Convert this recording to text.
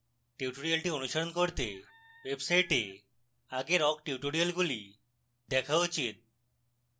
tutorial অনুশীলন করতে website আগের awk টিউটোরিয়ালগুলি দেখা উচিত